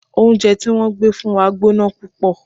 Oúnjẹ tí wọ́n gbé fún wa gbóná púpọ̀.